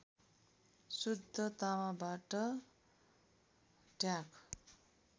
शुद्ध तामाबाट ढ्याक